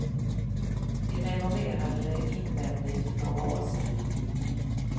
Vi renoverade det invändigt för några år sedan.